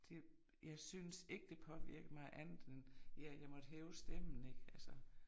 Det jeg synes ikke det påvirkede mig andet end jeg jeg måtte hæve stemmen ik altså